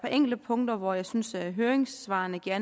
enkelte punkter hvor jeg synes at høringssvarene giver